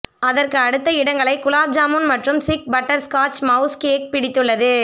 அதற்கு அடுத்த இடங்களை குலாப் ஜாமுன் மற்றும் சிக் பட்டர்ஸ்காட்ச் மவுஸ் கேக் பிடித்துள்ளது